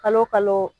Kalo o kalo